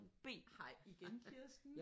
Hej igen Kirsten